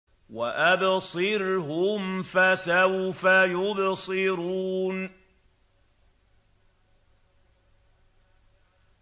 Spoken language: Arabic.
وَأَبْصِرْهُمْ فَسَوْفَ يُبْصِرُونَ